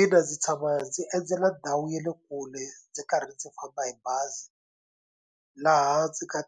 Ina, ndzi tshama ndzi endzela ndhawu ya le kule ndzi karhi ndzi famba hi bazi laha ndzi ka